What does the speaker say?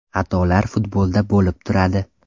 Xatolar futbolda bo‘lib turadi.